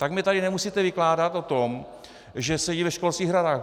Tak mi tady nemusíte vykládat o tom, že sedí ve školských radách.